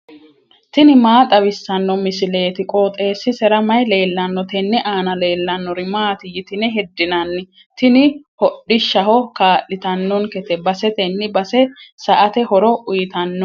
tini maa xawissanno misileeti? qooxeessisera may leellanno? tenne aana leellannori maati yitine heddinanni? Tini hodhishshaho kaa'litannonkete basetenni base sa*ate horo uyiitannonke.